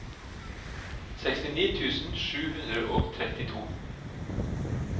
sekstini tusen sju hundre og trettito